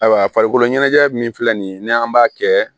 Ayiwa farikolo ɲɛnajɛ min filɛ nin ye n'an b'a kɛ